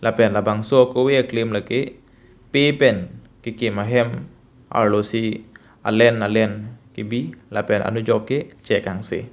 pen labangso akove aklim lake pe pen kekim ahem arlo si alen alen kebi lapen anujok ke chek angse.